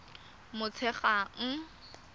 motshegang